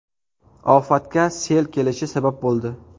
Ofatga sel kelishi sabab bo‘ldi.